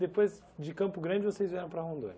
Depois de Campo Grande, vocês vieram para Rondônia?